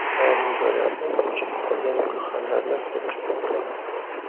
Ayrim joylarda o‘chib qolgan gulxanlarni ko‘rish mumkin.